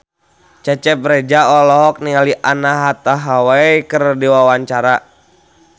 Cecep Reza olohok ningali Anne Hathaway keur diwawancara